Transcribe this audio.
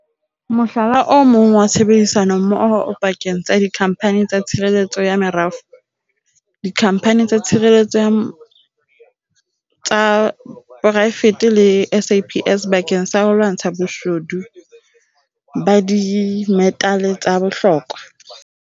Mohlala o mong wa tshebedisanommoho o pakeng tsa dikhamphani tsa tshireletso ya merafo, dikhamphani tsa tshireletso tsa poraefete le SAPS bakeng sa ho lwantsha boshodu ba dimetale tsa bohlokwa.